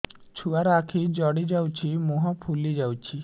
ଛୁଆର ଆଖି ଜଡ଼ି ଯାଉଛି ମୁହଁ ଫୁଲି ଯାଇଛି